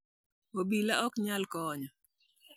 obila ok nyal konyo